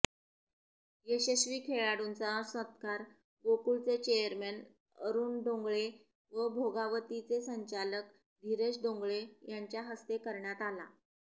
यशस्वी खेळाडूंचा सत्कार गोकुळचे चेअरमन अरुण डोंगळे व भोगावतीचे संचालक धीरज डोंगळे यांच्याहस्ते करण्यात आला